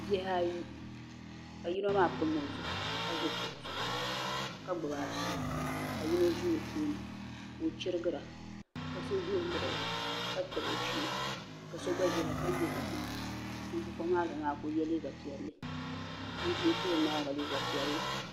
Bihi ayi ka yino maa pam o zuɣu ka ʒi kuɣu zuɣu ka gbubi afi ka yino ʒi o tooni ka o chirigira ka so ʒɛ o luɣuli ka tabi o shee ka so gba ʒɛya ka muɣi o maŋa ŋun ʒi kuɣu maa zuɣu maa ka o yɛ liiga piɛlli ŋun ʒi o tooni maa gba maa liiga piɛlli